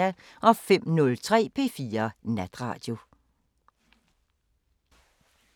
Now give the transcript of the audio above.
05:03: P4 Natradio